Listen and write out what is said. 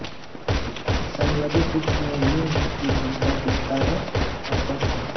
स्वप्रतिरक्षकता में लिंग की भूमिका के कारण अस्पष्ट हैं